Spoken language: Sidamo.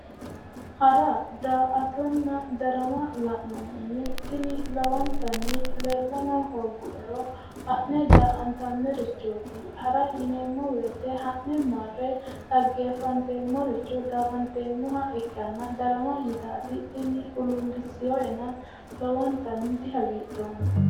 Hara daa"attonna darama la'nohunni tini lowontanni leellano hooguero ha'ne daa"attanirichoti, hara yineemmo woyte ha'ne marre dhageefanteemmoricho daa"ateemmoha ikkanna yitati tini huluulisinoenna lowontanni dihagiidhoomma".